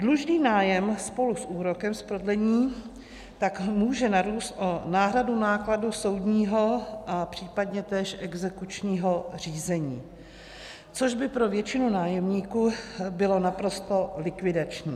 Dlužný nájem spolu s úrokem z prodlení tak může narůst o náhradu nákladů soudního a případně též exekučního řízení, což by pro většinu nájemníků bylo naprosto likvidační.